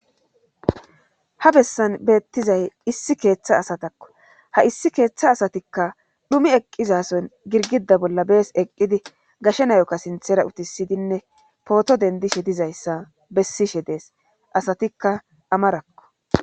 Ha bessan beettizay issi keeththa asatakko ha issi keeththa asatikka dhumi eqqizason girgida bolla bees eqqidi gashe nayokka sinthera utisidinne pooto dendishe dizayssa bessishe dees asatikka amarakko.